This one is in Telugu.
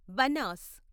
బనాస్